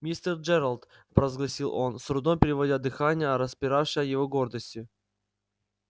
мистер джералд провозгласил он с трудом переводя дыхание а распиравшей его гордости